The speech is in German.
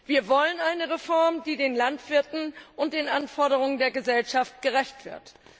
Wir wollen eine Reform, die den Landwirten und den Anforderungen der Gesellschaft gerecht wird.